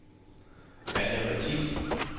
Anja Matthiesen